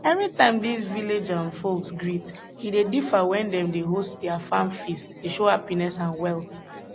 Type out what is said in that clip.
every time dis village um folks greet e dey differ wen dem dey host dia farm feast dey show happiness and wealth